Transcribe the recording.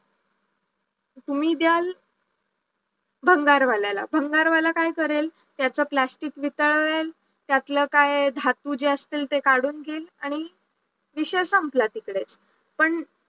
तुम्ही द्या भंगारवाल्याला, भंगारवाला काय करेल त्याच प्लास्टिक वितळवेल त्यातलं काय धातू जे असतील ते काढून घेईल आणि विषय संपला तिकडेच पण